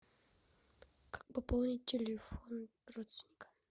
как пополнить телефон родственника